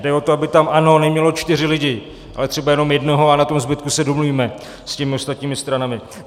Jde o to, aby tam ANO nemělo čtyři lidi, ale třeba jenom jednoho, a na tom zbytku se domluvíme s těmi ostatními stranami.